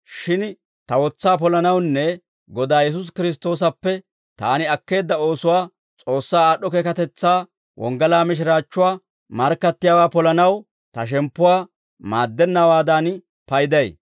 Shin ta wotsaa polanawunne Godaa Yesuusi Kiristtoosappe taani akkeedda oosuwaa S'oossaa aad'd'o keekatetsaa wonggalaa mishiraachchuwaa markkattiyaawaa polanaw, ta shemppuwaa maaddennawaadan payday.